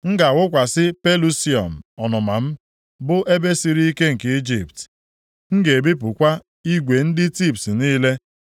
M ga-awụkwasị Pelusium + 30:15 Maọbụ, Sin ọnụma m, bụ ebe siri ike nke Ijipt, m ga-ebipụkwa igwe ndị Tibs niile.